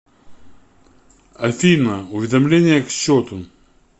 афина уведомления к счету